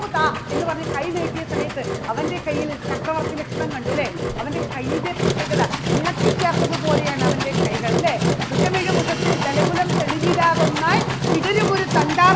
താ എന്ന് പറഞ്ഞ് കൈ നീട്ടിയ സമയത്ത് അവൻറെ കയ്യിൽ ചക്രവർത്തി ലക്ഷണം കണ്ടു അല്ലേ? അവൻറെ കയ്യിന്റെ പ്രത്യേകത വിളക്കി ചേർത്തത് പോലെയാണ് അവൻറെ കൈകൾ അല്ലേ? വൃഷമൊഴു ഉഷസ്സിൽ വിടരുമൊരു